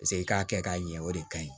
Paseke i k'a kɛ k'a ɲɛ o de kaɲi